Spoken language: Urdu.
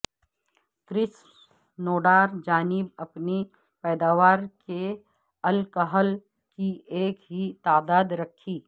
کریسنوڈار جانب اپنی پیداوار کے الکحل کی ایک ہی تعداد رکھی